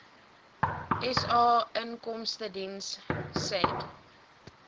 sa inkomstediens said